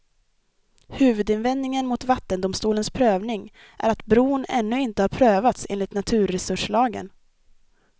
Huvudinvändningen mot vattendomstolens prövning är att bron ännu inte har prövats enligt naturresurslagen.